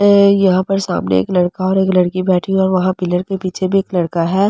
है यहां पर सामने एक लड़का और एक लड़की बैठी है और वहां पिलर के पीछे भी एक लड़का है।